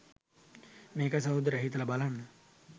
මේකයි සහෝදරයා හිතල බලන්න